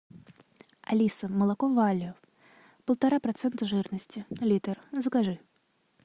алиса молоко валио полтора процента жирности литр закажи